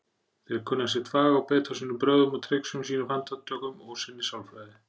Þeir kunna sitt fag og beita sínum brögðum og trixum, sínum fantatökum og sinni sálfræði.